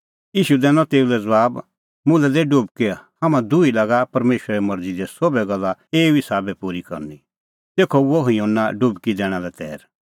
ईशू दैनअ तेऊ लै ज़बाब मुल्है दै डुबकी हाम्हां दुही लागा परमेशरे मरज़ी दी सोभै गल्ला एऊ ई साबै पूरी करनी तेखअ हुअ युहन्ना डुबकी दैणा लै तैर